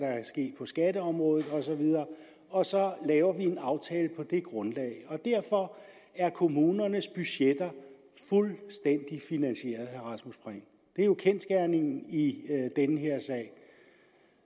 ske på skatteområdet osv og så laver vi en aftale på det grundlag derfor er kommunernes budgetter fuldstændig finansieret rasmus prehn det er jo kendsgerningen i den her sag